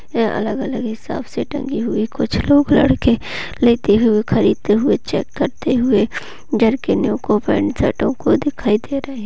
ये अलग अलग हिसाब से टंगी हुई है कुछ लोग लड़के लेते हुए कड़े हुए चेक करते हुए जरकिनों को पैंट शर्ट ओं कों दिखाई दे रहे।